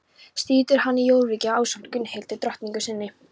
Situr hann í Jórvík ásamt Gunnhildi drottningu sinni.